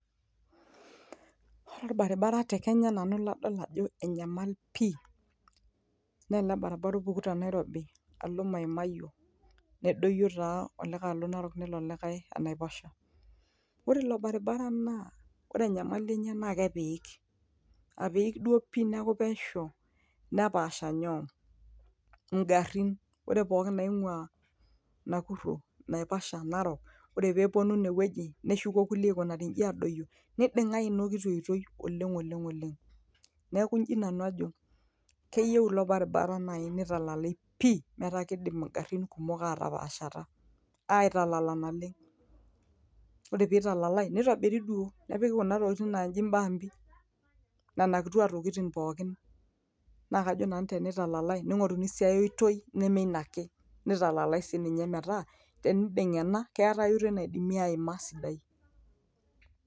ore orbaribara te kenya nanu ladol ajo enyamal pii naa ele baribara opuku te nairobi alo maimayio nedoyio taa olikae alo narok nelo olikae enaiposha ore ilo baribara naa ore enyamali enye naa kepiik apiik duo pii neeku pesho nepaasha nyoo ingarin ore pooki naing'ua nakuro naipasha narok ore peeponu inewueji neshuko kulie aikunari inji adoyio niding'i ina kiti oitoi oleng oleng oleng neeku inji nanu ajo keyieu ilo baribara naaji nitalalai pii metaa kidim ingarrin kumok atapaashata aitalala naleng ore pitalalae nitobiri duo nepiki kuna tokitin naaji imbambi nana kitua tokitin pookin naa kajo nanu tenitalalae ning'oruni sii ae toi neme ina ake nitalalae sininye metaa teniding'a ena keetae ae oitoi naidimi aima sidai.